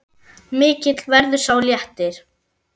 Mikill verður sá léttir.